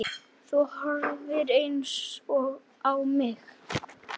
Þú horfir eins á mig.